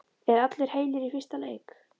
Eru allir heilir í fyrsta leik?